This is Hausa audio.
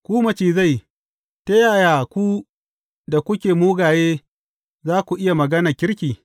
Ku macizai, ta yaya ku da kuke mugaye za ku iya magana kirki?